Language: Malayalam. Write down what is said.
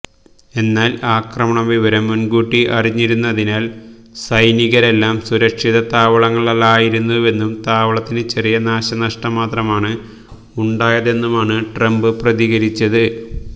എന്നാൽ ആക്രമണവിവരം മുൻകൂട്ടി അറിഞ്ഞിരുന്നതിനാൽ സൈനികരെല്ലാം സുരക്ഷിത താവളത്തിലായിരുന്നുവെന്നും താവളത്തിന് ചെറിയ നാശനഷ്ടം മാത്രമാണ് ഉണ്ടായതെന്നുമാണ് ട്രംപ് പ്രതികരിച്ചത്